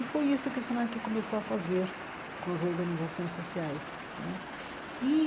E foi isso que o Senac começou a fazer com as organizações sociais né e.